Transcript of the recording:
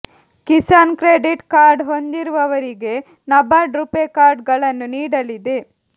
Kisan credit card ಹೊಂದಿರುವವರಿಗೆ NABARD RuPay card ಗಳನ್ನು ನೀಡಲಿದೆ